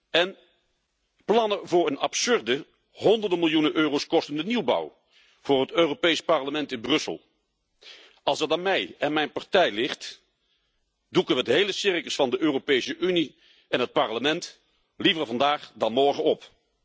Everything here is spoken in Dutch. En plannen voor een absurde, honderden miljoenen euro's kostende nieuwbouw voor het Europees Parlement in Brussel. Als het aan mij en mijn partij ligt, doeken we het hele circus van de Europese Unie en het Parlement liever vandaag dan morgen op.